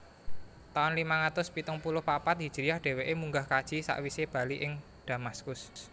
Taun limang atus pitung puluh papat hijriyah dheweke munggah kaji sakwise bali ing Damaskus